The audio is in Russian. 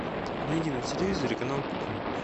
найди на телевизоре канал кухня